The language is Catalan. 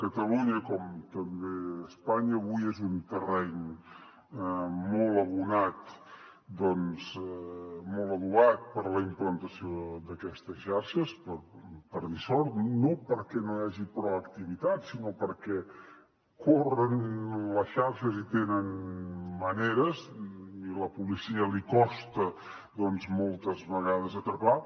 catalunya com també espanya avui és un terreny molt abonat doncs molt adobat per a la implantació d’aquestes xarxes per dissort no perquè no hi hagi proactivitat sinó perquè corren les xarxes i tenen maneres i a la policia li costa moltes vegades atrapar